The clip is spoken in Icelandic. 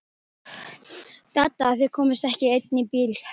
Dadda að þau komust ekki í einn bíl.